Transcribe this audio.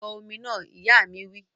Bọ omi náà! Ìyá mi wí